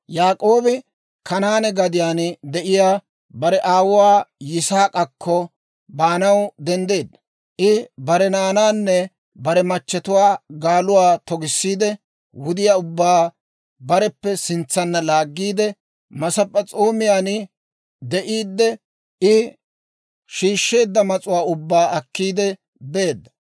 Yaak'oobi Kanaane gadiyaan de'iyaa bare aawuwaa Yisaak'akko baanaw denddeedda; I bare naanaanne bare machatuwaa gaaluwaa togisseedda; wudiyaa ubbaa bareppe sintsanna laaggiide, Masp'p'es'oomiyaan de'iidde I shiishsheedda mas'uwaa ubbaa akkiidde beedda.